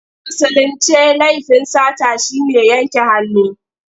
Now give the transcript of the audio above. A Musulince laifin sata shi ne yanke hannu.